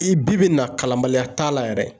I bi na kalanbaliya t'a la yɛrɛ